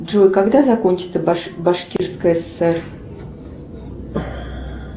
джой когда закончится башкирская сср